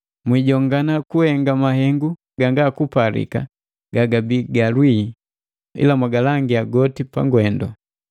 Mwiijongana kuhenga mahengu gangakupalika gagabii ga lwii, ila mwagalangia goti pagwendu.